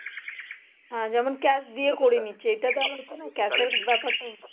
হ্যাঁ যেমন cash দেয়া করিয়ে নিচ্ছে